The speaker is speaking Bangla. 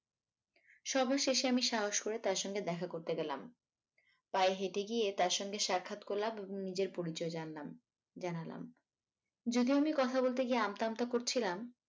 সর্বশেষে আমি সাহস করে তার সঙ্গে দেখা করতে গেলাম পায়ে হেঁটে গিয়ে তার সঙ্গে সাক্ষাৎ করলাম এবং নিজের পরিচয় জানলাম জানালাম যদিও আমি কথা বলতে গিয়ে আমতা আমতা করছিলাম